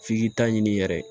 F'i k'i ta ɲini yɛrɛ